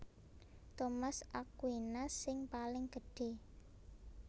Thomas Aquinas sing paling gedhé